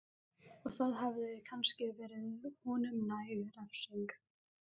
Og það hefði kannski verið honum næg refsing.